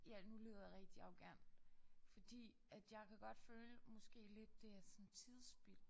Ja nu lyder jeg rigtig arrogant fordi at jeg kan godt føle måske lidt det er sådan tidsspild